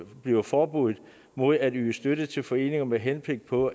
bliver forbuddet mod at yde støtte til foreninger med henblik på